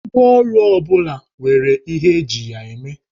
Ngwáọrụ ọ bụla nwere ihe eji ya eme